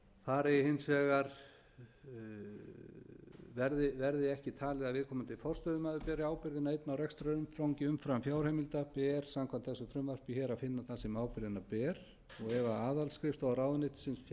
dæmi um verði hins vegar ekki talið að forstöðumaður beri ábyrgðina einn á rekstrarumfangi umfram fjárheimildir ber samkvæmt þessu frumvarpi hér að finna þann sem ábyrgðina ber ef aðalskrifstofa ráðuneytis